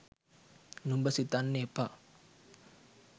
නුඹ සිතන්න එපා